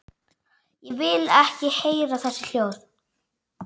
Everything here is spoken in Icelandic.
Vil ekki heyra þessi hljóð.